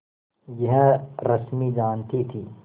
यह रश्मि जानती थी